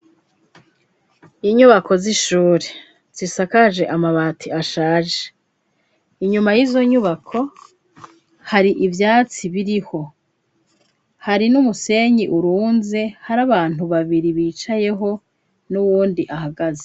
Inyubako z'ishuri zisakaje amabati ashaje, inyuma y'izo nyubako hari ivyatsi biriho, hari n'umusenyi urunze ,hari abantu babiri bicayeho n'uwundi ahagaze.